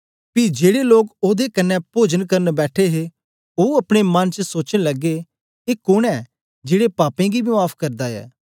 पी जेड़े लोक ओदे कन्ने पोजन करन बैठे हे ओ अपनेअपने मन च सोचन लगे ए कोन ऐ जेड़े पापें गी बी माफ़ करदा ऐ